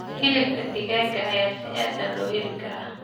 Hilibka digaaga ayaa si aad ah loo heli karaa.